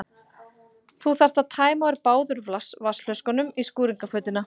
Þú þarft að tæma úr báðum plastflöskunum í skúringafötuna.